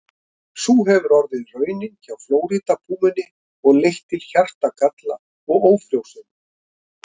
Sú hefur orðið raunin hjá Flórída-púmunni og leitt til hjartagalla og ófrjósemi.